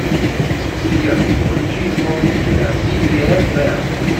сбер включи исполнителя зибиэсбэнд